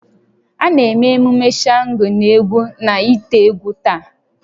A na-eme emume Shango n'egwu na ite-egwu taa